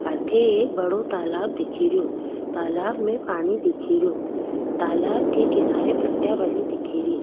अठे एक बड़ो तालाब दिखेरो तालाब में पानी दिखेरो तालाब के किनारे पट्टिया बनी दिखेरी।